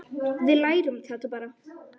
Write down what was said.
Við lærum þetta bara.